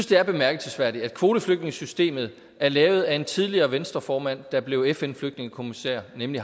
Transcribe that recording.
det er bemærkelsesværdigt at kvoteflygtningesystemet er lavet af en tidligere venstreformand der blev fn flygtningekommissær nemlig